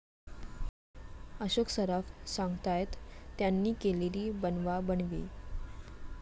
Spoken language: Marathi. अशोक सराफ सांगतायत त्यांनी केलेली 'बनवाबनवी'!